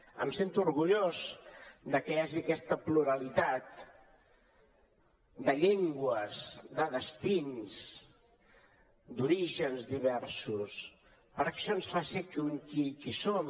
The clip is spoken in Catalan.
em sento orgullós de que hi hagi aquesta pluralitat de llengües de destins d’orígens diversos perquè això ens fa ser qui som